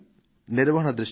నిర్వహణ దృష్ట్యా